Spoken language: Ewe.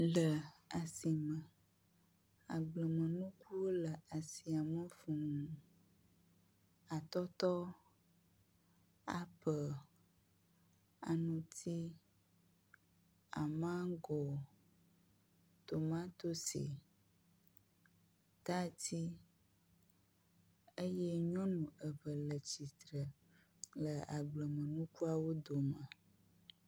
Le asime agblenukuwo le asiame fuu, atɔtɔ, apel, aŋutsi, amango, tomatosi tadi eyey nyɔnu eve le tsitre le agblemenukuawo dome.